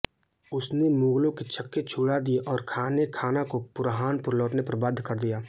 उसने मुगलों के छक्के छुड़ा दिए और खानेखाना को बुरहानपुर लौटने पर बाध्य कर दिया